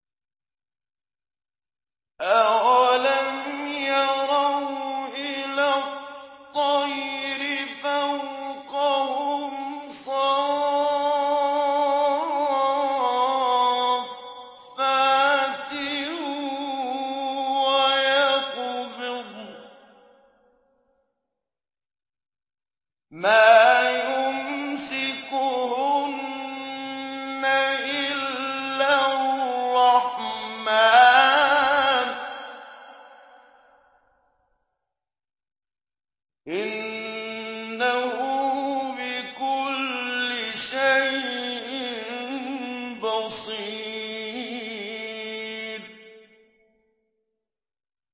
أَوَلَمْ يَرَوْا إِلَى الطَّيْرِ فَوْقَهُمْ صَافَّاتٍ وَيَقْبِضْنَ ۚ مَا يُمْسِكُهُنَّ إِلَّا الرَّحْمَٰنُ ۚ إِنَّهُ بِكُلِّ شَيْءٍ بَصِيرٌ